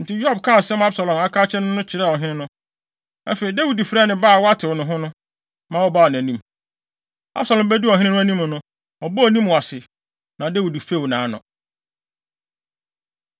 Enti Yoab kaa asɛm a Absalom aka akyerɛ no no kyerɛɛ ɔhene no. Afei, Dawid frɛɛ ne ba a watew ne ho no, ma ɔbaa nʼanim. Absalom beduu ɔhene no anim no, ɔbɔɔ ne mu ase, na Dawid few nʼano.